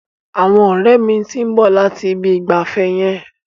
Àwọn ọ̀rẹ́ mi ti ń bọ̀ láti Ibi ìgbafẹ́ yẹn.